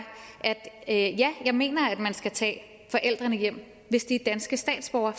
at jeg mener at man skal tage forældrene hjem hvis de er danske statsborgere